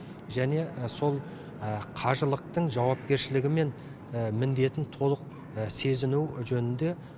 және сол қажылықтың жауапкершілігі мен міндетін толық сезіну жөнінде